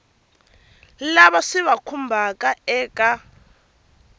lava swi va khumbhaka eka